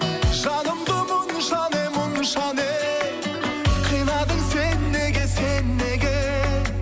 жанымды мұнша не мұнша не қинадың сен неге сен неге